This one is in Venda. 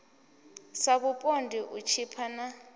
sa vhupondi u tshipa na